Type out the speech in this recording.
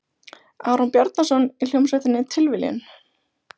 Aron Bjarnason, í hljómsveitinni Tilviljun?